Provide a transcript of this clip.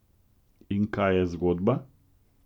In kaj je zgodba?